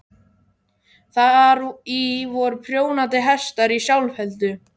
Þar í voru prjónandi hestar í sjálfheldu.